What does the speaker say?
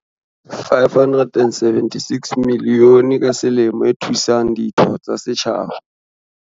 "R576 milione ka selemo e thusang ditho tsa setjhaba."